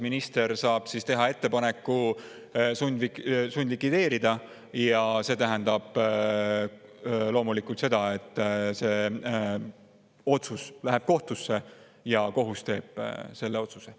Minister saab teha ettepaneku sundlikvideerida ja see tähendab loomulikult seda, et see otsus läheb kohtusse ja kohus teeb selle otsuse.